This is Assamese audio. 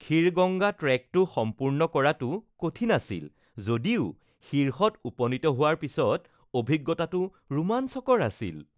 খীৰগংগা ট্ৰেকটো সম্পূৰ্ণ কৰাটো কঠিন আছিল যদিও শীৰ্ষত উপনীত হোৱাৰ পিছত অভিজ্ঞতাটো ৰোমাঞ্চকৰ আছিল